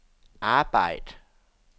arbejd